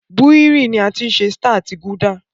Búhírì ní a tí ṣe Star àti gulder